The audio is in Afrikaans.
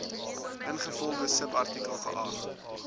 ingevolge subartikel geag